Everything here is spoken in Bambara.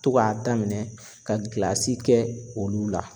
To k'a daminɛn ka gilasi kɛ olu la.